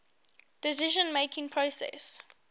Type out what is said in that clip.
decision making process